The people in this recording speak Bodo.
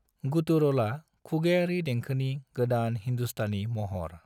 गुटुरलआ खुगायारि देंखोनि गोदान हिंदुस्तानी महर।